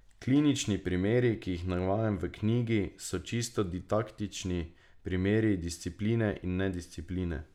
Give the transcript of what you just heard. Klinični primeri, ki jih navajam v knjigi, so čisto didaktični primeri discipline in nediscipline.